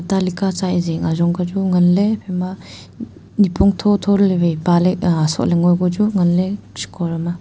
ta lika sa e jing ajongka chu nganley iphaima um nipong thotho ley waI pahley aa sohley ngoI ko chu nganley shiko dam ma.